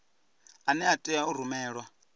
ane a tea u rumelwa